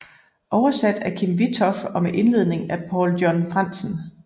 Oversat af Kim Witthoff og med indledning af Paul John Frandsen